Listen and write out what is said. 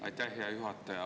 Aitäh, hea juhataja!